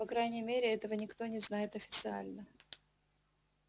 по крайней мере этого никто не знает официально